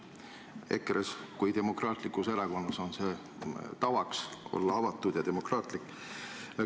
EKRE-s kui demokraatlikus erakonnas on tavaks olla avatud ja demokraatlik.